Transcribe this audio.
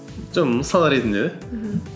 жоқ мысал ретінде де мхм